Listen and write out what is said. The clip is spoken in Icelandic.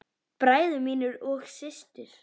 Bræður mínir og systur.